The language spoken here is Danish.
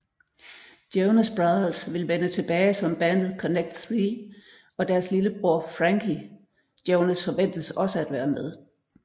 Jonas Brothers vil vende tilbage som bandet Connect Three og deres lille bror Frankie Jonas forventes også at være med